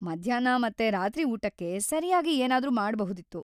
ಮಧ್ಯಾಹ್ನ ಮತ್ತೆ ರಾತ್ರಿ ಊಟಕ್ಕೆ ಸರಿಯಾಗಿ ಏನಾದ್ರೂ ಮಾಡ್ಬಹುದಿತ್ತು.